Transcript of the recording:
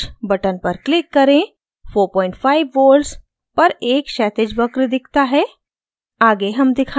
cc charge button पर click करें 45 volts पर एक क्षैतिज वक्र दिखता है